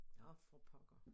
Nå for pokker